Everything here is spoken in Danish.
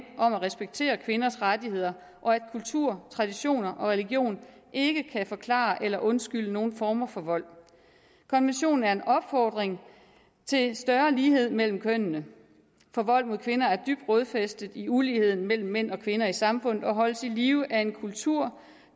om at respektere kvinders rettigheder og at kultur traditioner og religion ikke kan forklare eller undskylde nogen former for vold konventionen er en opfordring til større lighed mellem kønnene for vold mod kvinder er dybt rodfæstet i uligheden mellem mænd og kvinder i samfundet og holdes i live af en kultur